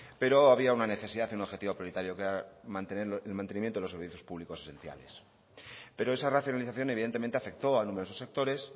pero había una necesidad y un objetivo prioritario que era el mantenimiento de los servicios públicos esenciales pero esa racionalización evidentemente afectó a numerosos sectores